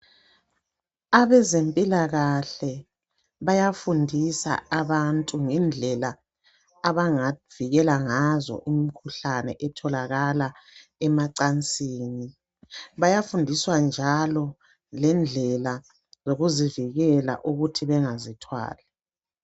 Abezempilakahle bayafundisa abantu ngendlela abangavikela ngazo umkhuhlane etholakala emacansini. Bayafundiswa njalo lendlela yokuzivikela ukuthi bengazithwali